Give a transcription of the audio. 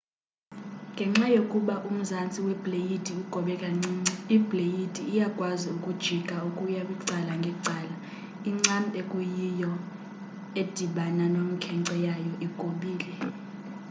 ngenxa yokuba umzantsi webleyidi ugobe kancinci ibleyidi iyakwazi ukujika ukuya kwicala ngecala incam ekuyiyio edibana nomkhenkce nayo igobile